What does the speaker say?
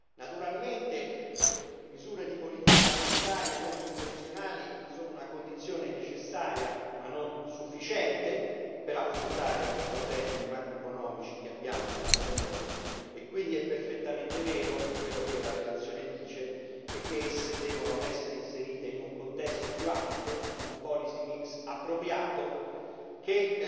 Naturalmente, misure di politica monetaria non convenzionali sono una condizione necessaria ma non sufficiente per affrontare i problemi macroeconomici che abbiano dinanzi a noi e quindi è perfettamente vero quello che la relazione dice e che esse devono essere inserite in un contesto più ampio, in un policy mix appropriato che